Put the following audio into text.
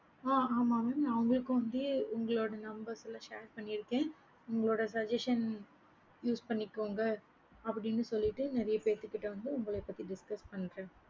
ஆஹ் ஆமா mam அவங்களுக்கு வந்து உங்களோட number share பண்ணிருக்கேன் உங்களோட suggestion use பண்ணிகொங்க அப்படின்னு சொல்லிட்டு நெறைய பேத்துக்கு கிட்ட வந்து உங்கள பத்தி discuss பன்றேன்